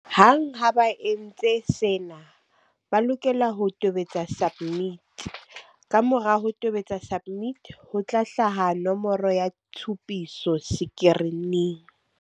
Hang ha ba entse sena, ba lokela ho tobetsa SUBMIT. Kamora ho tobetsa SUBMIT, ho tla hlaha nomoro ya tshupiso sekirining.